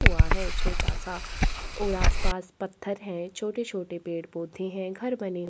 हुआ है छोटा सा और आसपास पत्थर है छोटे-छोटे पेड़-पौधे है घर बने--